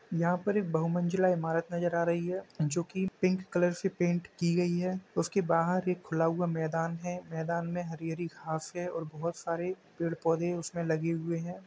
यहाँ पर एक बहुमंजिला इमारत नजर आ रही है जो की पिंक कलर से पेंट की गई है उसके बाहर एक खुला हुआ मैदान है | मैदान में हरी हरी घास है और बहोत सारे पेंड़ पौधे उसमें लगे हुए हैं।